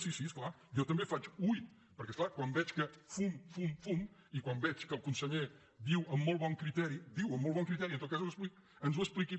sí sí és clar jo també faig ui perquè és clar quan veig que fum fum fum i quan veig que el conseller diu amb molt bon criteri diu amb molt bon criteri en tot cas que ens ho expliqui